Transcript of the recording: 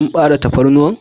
Kin bare tafarnuwan?